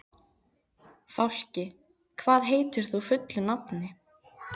Fálki, hvað heitir þú fullu nafni?